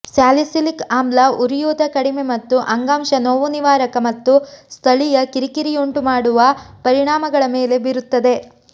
salicylic ಆಮ್ಲ ಉರಿಯೂತ ಕಡಿಮೆ ಮತ್ತು ಅಂಗಾಂಶ ನೋವುನಿವಾರಕ ಮತ್ತು ಸ್ಥಳೀಯ ಕಿರಿಕಿರಿಯುಂಟುಮಾಡುವ ಪರಿಣಾಮಗಳ ಮೇಲೆ ಬೀರುತ್ತದೆ